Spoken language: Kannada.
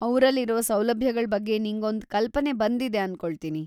ಅ‌ವ್ರಲ್ಲಿರೋ ಸೌಲಭ್ಯಗಳ್ ಬಗ್ಗೆ ನಿಂಗೊಂದ್ ಕಲ್ಪನೆ ಬಂದಿದೆ ಅನ್ಕೊಳ್ತೀನಿ.